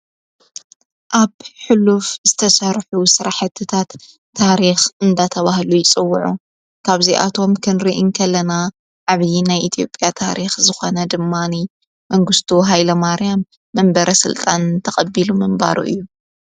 ኣብ ሕሉፍ ዝተሣርሑ ሠራሕትታት ታሪኽ እንዳተብሃሉ ይጽውዑ ካብዚ ኣቶም ክንርኢ ከለና ዓብዪ ናይ ኢቲኦጵያ ታሪኽ ዝኾነ ድማኒ መንግሥቱ ሃይለ ማርያም መንበረ ሥልጣን ተቐቢሉ ምንባሩ እዩ።